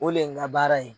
O le ye n ka baara ye